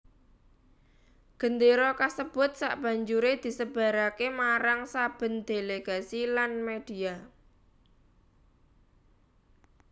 Gendéra kasebut sabanjuré disebaraké marang saben delegasi lan media